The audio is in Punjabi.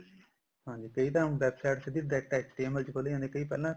ਹਾਂਜੀ ਕਈ ਤਾਂ ਹੁਣ website direct ਸਿੱਧੀ HTML ਚ ਖੁੱਲ ਜਾਂਦੀ ਹੈ ਕਈ ਪਹਿਲਾਂ